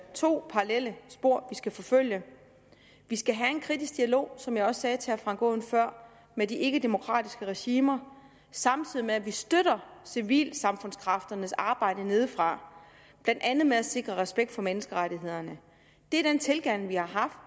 to parallelle spor vi skal forfølge vi skal have en kritisk dialog som jeg også sagde til herre frank aaen før med de ikkedemokratiske regimer samtidig med at vi støtter civilsamfundskræfternes arbejde nedefra blandt andet med at sikre respekt for menneskerettighederne det er den tilgang vi har haft